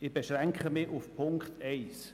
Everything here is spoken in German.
Ich beschränke mich auf den Punkt 1.